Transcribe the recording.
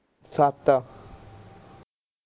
ਸੱਤ